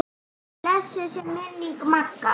Blessuð sé minning Magga.